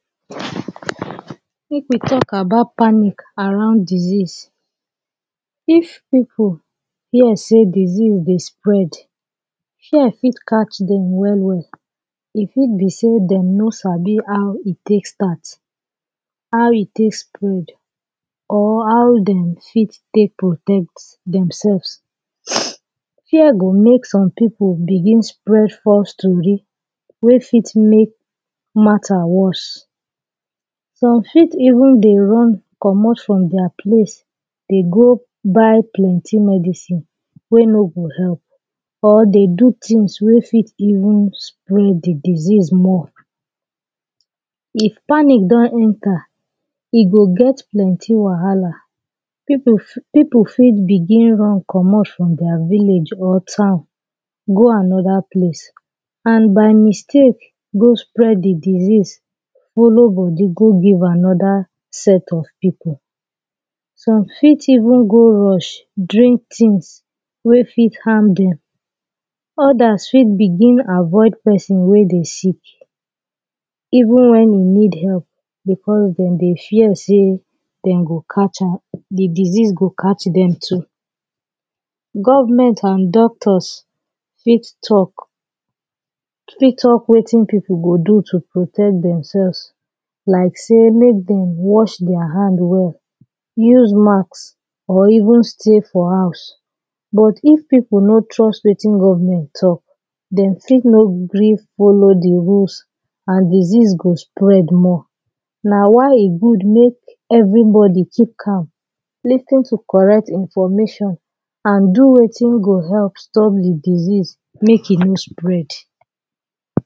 make we talk about panic around disease. If pipul hear sey disease dey spread, fear fit catch dem well well e fit be sey dem no sabi how e take start, how e take spread or how dem fit take protect dem selves Fear go make some pipul begin spread false stori wey fit make matter worst. Some fit even dey run comot from dia place dey go buy plenti medicine wey no go help or dey do tins wey fit even spread de disease more. If panic don enter, e go get plenti wahala, pipul, pipul fit begin dey run from dia village or town go anoda place and by mistake go spread de disease follow bodi go give anoda set of pipul. Some fit even go rush drink tins wey fit harm dem. Odas fit begin avoid pesin wey dey sick even when you need help becos dem dey fear sey dem go catch am, de disease go catch dem too. Government and doctors fit talk, fit talk wetin pipul go do to protect dem selves like sey make dem wash dia hand well, use mask or even stay for house. But if pipul no trust wetin government talk, dem fit no gree follow de rules and disease go spread more. Na why e good make everybodi keep calm, lis ten to correct information and do wetin go help stop de disease make e no spread.